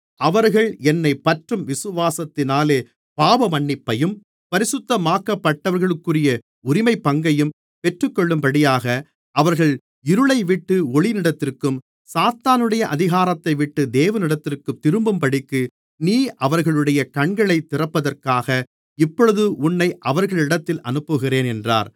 அவர்கள் என்னைப் பற்றும் விசுவாசத்தினாலே பாவமன்னிப்பையும் பரிசுத்தமாக்கப்பட்டவர்களுக்குரிய உரிமைப்பங்கையும் பெற்றுக்கொள்ளும்படியாக அவர்கள் இருளைவிட்டு ஒளியினிடத்திற்கும் சாத்தானுடைய அதிகாரத்தைவிட்டு தேவனிடத்திற்கும் திரும்பும்படிக்கு நீ அவர்களுடைய கண்களைத் திறப்பதற்காக இப்பொழுது உன்னை அவர்களிடத்திற்கு அனுப்புகிறேன் என்றார்